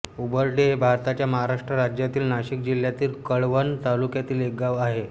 उंबर्ढे हे भारताच्या महाराष्ट्र राज्यातील नाशिक जिल्ह्यातील कळवण तालुक्यातील एक गाव आहे